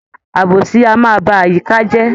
Àbòsí a máa ba àyíká je